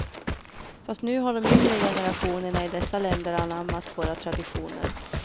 Fast nu har de yngre generationerna i dessa länder anammat våra traditioner.